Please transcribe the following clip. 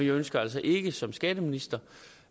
ønsker altså ikke som skatteminister